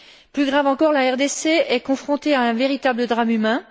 Plus grave encore, la RDC est confrontée à un véritable drame humain.